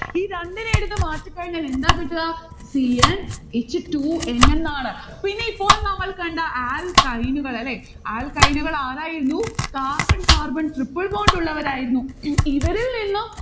ഈ രണ്ടിനെ എടുത്ത് മാറ്റിക്കഴിഞ്ഞാൽ എന്താ കിട്ടുക c n h two n എന്നാണ്. പിന്നെ ഇപ്പോൾ നമ്മൾ കണ്ട alkyne കൾ അല്ലെ. alkyne കൾ ആരായിരുന്നു? carbon carbon triple bond ഉള്ളവരായിരുന്നു ഇവരിൽനിന്നും